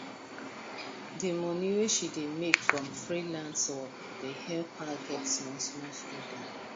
the money wey she dey make from freelance work dey help her get smallsmall freedom